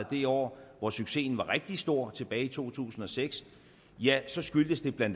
det år hvor succesen var rigtig stor tilbage i to tusind og seks ja så skyldtes det bla